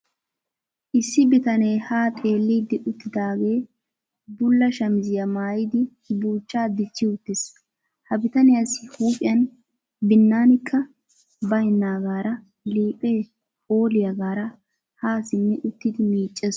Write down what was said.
Issi bitanee haa xeellidi uttidaagee bulla shamiziya maayidi buuchchaa dichchi uttiis. Ha bitaniyassi huuphiyan binnanikka baynnaagaara liiphee phooliyagaara haa simmi uttidi miiccees.